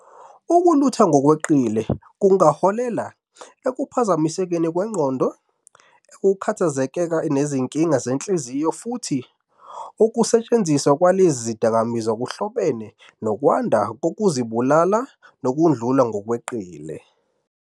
Ukulutha ngokweqile kungaholela ekuphazamisekeni kwengqondo, ukukhathazeka nezinkinga zenhliziyo, futhi ukusetshenziswa kwalesi sidakamizwa kuhlobene nokwanda kokuzibulala, nokudlula ngokweqile.